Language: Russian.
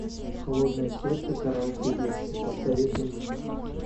холодное сердце караоке версия посоветуй мне